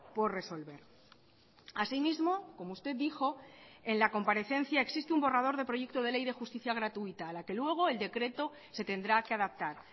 por resolver asimismo como usted dijo en la comparecencia existe un borrador de proyecto de ley de justicia gratuita a la que luego el decreto se tendrá que adaptar